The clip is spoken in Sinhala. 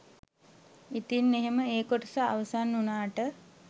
ඉතින් එහෙම ඒ කොටස අවසන් උනාට